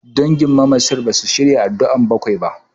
Dangin mamacin basu shirya addu'ar bakwai ba.